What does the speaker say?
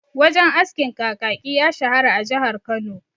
Wajen askin Kakaki ya shahara a jihar Kano..